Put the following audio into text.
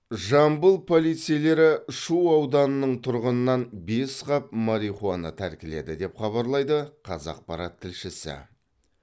жамбыл полицейлері шу ауданының тұрғынынан бес қап марихуана тәркіледі деп хабарлайды қазақпарат тілшісі